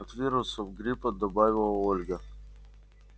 от вирусов гриппа добавила ольга